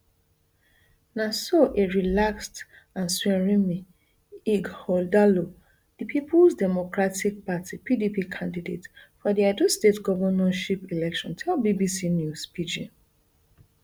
na so a relaxed asuerinme ighodalo di peoples democratic party pdp candidate for di edo state govnorship election tell bbc news pidgin